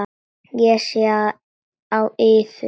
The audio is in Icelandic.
Ég sé það á yður.